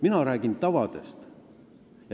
Mina räägin tavadest.